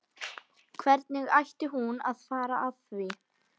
Og hvernig ætti hún að fara að því?